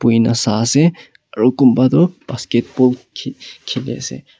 buhina sai ase aro kunba toh basketball khe khile ase.